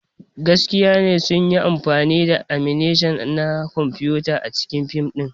Gaskiya ne sun yi amfani da animation na kwamfuta a cikin fim ɗin.